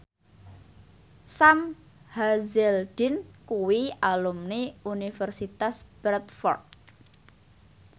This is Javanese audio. Sam Hazeldine kuwi alumni Universitas Bradford